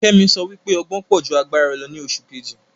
Kemi sọ wípé ọgbọn pọ̀ ju agbára lọ ni oṣù Kejì